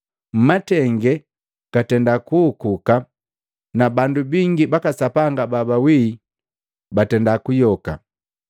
mmatenge gatenda kuhukuka na bandu bingi baka Sapanga babawi batenda kuyoka.